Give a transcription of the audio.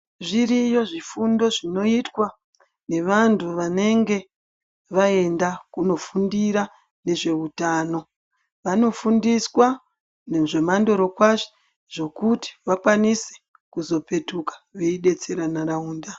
Zviriyo zvifundo zvinoitwa nevantu vanenge vaenda kunofundira nezveutano, vanofundiswa nezvemandorokwati zvekuti vakwanise kuzopetuka veidetsera ndaraunda.